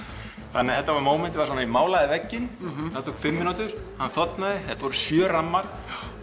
þetta var mómentið ég málaði vegginn það tók fimm mínútur þetta voru sjö rammar